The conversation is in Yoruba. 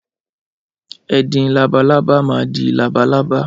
Ẹdin labalábá maa di labalábá.